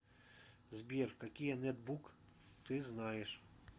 сбер какие нетбук ты знаешь